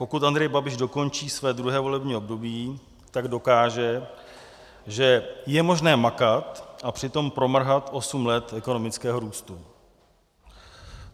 Pokud Andrej Babiš dokončí své druhé volební období, tak dokáže, že je možné makat a přitom promrhat osm let ekonomického růstu.